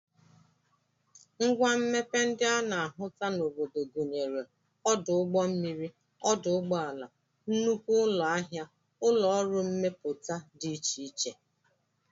Ngwa mmepe ndị a na-ahụta n'obodo gụnyere ọdụ ụgbọmmiri, ọdụ ụgbọala, nnukwu ụlọahịa, ụlọọrụ mmepụta dị iche iche